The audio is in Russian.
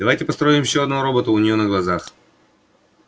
давай построим ещё одного робота у него на глазах